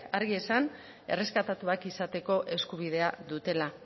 argi esan erreskatatuak izateko eskubidea dutela